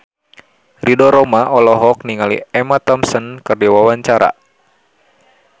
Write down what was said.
Ridho Roma olohok ningali Emma Thompson keur diwawancara